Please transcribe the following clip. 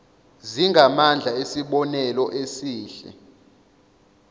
zingamandla esibonelo esihle